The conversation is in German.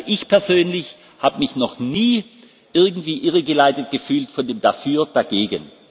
Also ich persönlich habe mich noch nie irgendwie irregeleitet gefühlt von dem dafür, dagegen.